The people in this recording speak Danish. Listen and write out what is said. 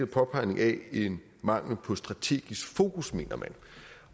påpegning af en mangel på strategisk fokus